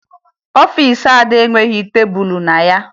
Ọfiisi Ada enweghi tebulu na ya